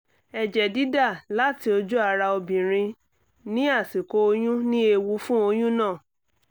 ẹ̀jẹ̀ dídà láti ojú ara obìnrin ní àsìkò oyún ní ewu fún oyún náà